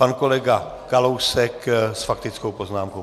Pan kolega Kalousek s faktickou poznámkou.